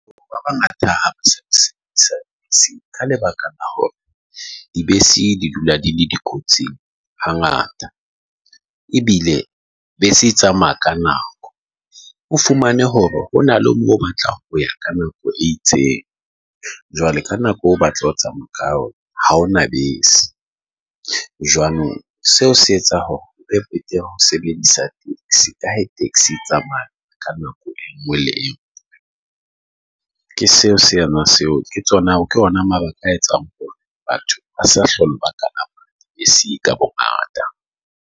O ba bangata ha ka lebaka D, B, C D dula di le di kotsing ha ngata. Ebile be se e tsamaya ka nako. O fumane hore ho na le moo o batlang ho ya ka nako e itseng. Jwale ka nako o batla ho tsamaya ka yona ha hona bese. Jwanong seo se etsa hore ho sebedisa taxi ka he taxi e tsamaya ka nako e nngwe le e nngwe. Ke seo sena seo, ke tsona ke yona mara ka etsang hore batho ba sa hlola ka e C ka bongata.